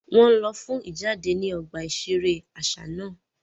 Wọn nlọ fún ijade ni ọgbà iṣere aṣa náà